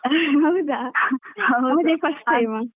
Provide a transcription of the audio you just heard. ಹೌದಾ ಹೌದು ಅದೇ first time ಅದು